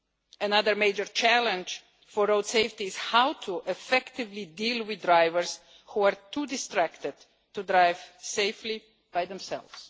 Another major challenge for road safety is how to effectively deal with drivers who are too distracted to drive safely by themselves.